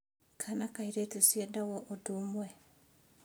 Kana kairetu ciendagwo ũndũ ũmwe.